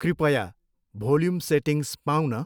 कृपया volume settings पाऊँ न।